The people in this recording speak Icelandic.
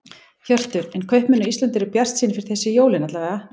Hjörtur: En kaupmenn á Íslandi eru bjartsýnir fyrir þessi jólin alla vega?